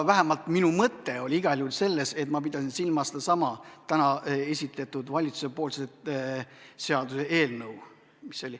Vähemalt minu mõte oli igal juhul selles, et ma pidasin silmas sedasama täna esitletud valitsuse seaduseelnõu.